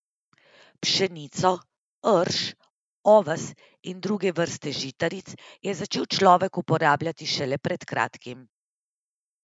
Pšenico, rž, oves in druge vrste žitaric je začel človek uporabljati šele pred kratkim.